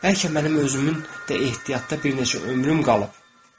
Bəlkə mənim özümün də ehtiyatda bir neçə ömrüm qalıb.